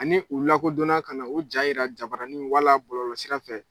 Ani u lakodɔn na ka na u jaa yira jabaranin wala bɔlɔlɔ sira fɛ